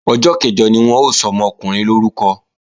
Ọjọ́ kẹ̀jọ ni wọ́n ó sọmọkùnrin lórúkọ